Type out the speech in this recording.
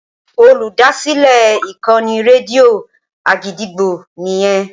Olùdásílẹ̀ ìkànnì rédíò Àgídìgbo nìyẹn.